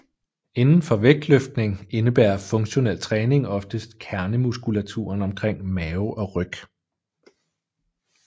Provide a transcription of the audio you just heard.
Inden for vægtløftning indebærer funktionel træning oftest kernemuskulaturen omkring mave og ryg